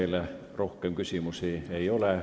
Teile rohkem küsimusi ei ole.